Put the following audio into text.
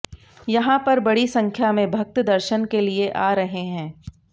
यहां पर बड़ी संख्या में भक्त दर्शन के लिए आ रहे हैं